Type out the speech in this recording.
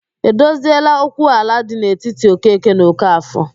E dozieela okwu ala dị n'etiti Okeke na Okafọ?